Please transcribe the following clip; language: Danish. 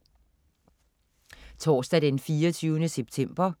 Torsdag den 24. september